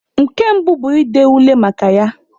Nke mbụ bu ịde ule maka ya.